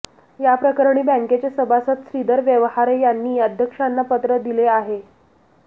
याप्रकरणी बँकेचे सभासद श्रीधर व्यवहारे यांनी अध्यक्षांना पत्र दिले आहे